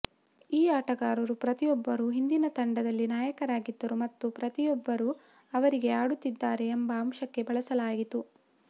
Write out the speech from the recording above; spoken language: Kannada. ಈ ಆಟಗಾರರು ಪ್ರತಿಯೊಬ್ಬರೂ ಹಿಂದಿನ ತಂಡದಲ್ಲಿ ನಾಯಕರಾಗಿದ್ದರು ಮತ್ತು ಪ್ರತಿಯೊಬ್ಬರೂ ಅವರಿಗೆ ಆಡುತ್ತಿದ್ದಾರೆ ಎಂಬ ಅಂಶಕ್ಕೆ ಬಳಸಲಾಯಿತು